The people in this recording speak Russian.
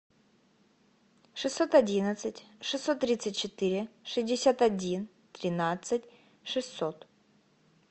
шестьсот одиннадцать шестьсот тридцать четыре шестьдесят один тринадцать шестьсот